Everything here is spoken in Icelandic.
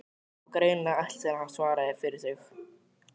Það var greinilega ætlast til að hann svaraði fyrir sig.